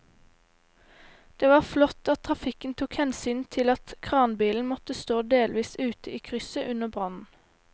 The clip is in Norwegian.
Det var flott at trafikken tok hensyn til at kranbilen måtte stå delvis ute i krysset under brannen.